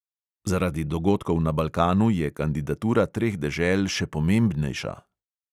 Zaradi dogodkov na balkanu je kandidatura treh dežel še pomembnejša.